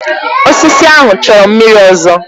Osisi ahụ chọrọ mmiri ọzọ.